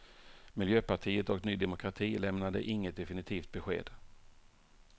Miljöpartiet och ny demokrati lämnade inget definitivt besked.